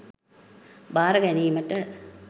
භාර ගැනීමට.